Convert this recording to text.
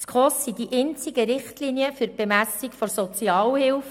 Diese sind die einzigen Richtlinien für die Bemessung der Sozialhilfe.